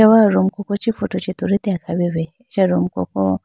achawa room koko chee photo tulitela kha wuyibi acha room koko.